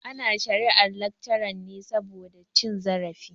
Ana shari'ar laccaran ne saboda cin zarafi.